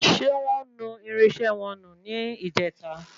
Ṣé wọ́n nu irinṣẹ́ wọn nù ní ìjèta?